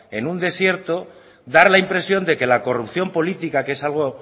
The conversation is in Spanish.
en un desierto dar la impresión de que la corrupción política que es algo